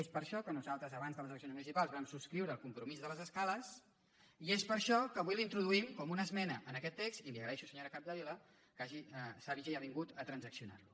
és per això que nosaltres abans de les eleccions municipals vam subscriure el compromís de les escales i és per això que avui l’introduïm com una esmena en aquest text i li agraeixo senyora capdevila que s’hagi avingut a transaccionar lo